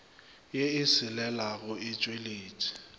ye e selelago e tšweletše